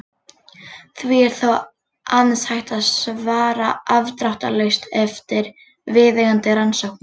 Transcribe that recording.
Því er þó aðeins hægt að svara afdráttarlaust eftir viðeigandi rannsóknir.